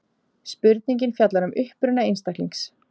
Spurningin fjallar um uppruna einstaklings.